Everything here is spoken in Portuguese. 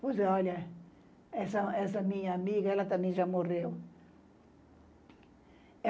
Pois é, olha, essa, essa minha amiga, ela também já morreu.